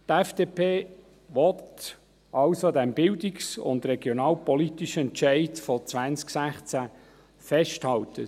Die FDP will also an diesem bildungs- und regionalpolitischen Entscheid von 2016 festhalten.